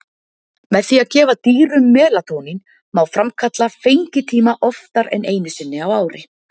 Með því að gefa dýrum melatónín má framkalla fengitíma oftar en einu sinni á ári.